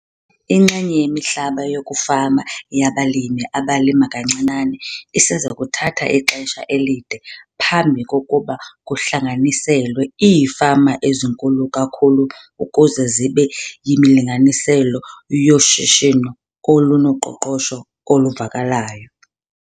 Inxenye yemihlaba yokufama yabalimi abalima kancinane iseza kuthatha ixesha elide phambi kokuba kuhlanganiselwe iifama ezinkulu kakhulu ukuze zibe yimilinganiselo yoshishino olunoqoqosho oluvakalayo.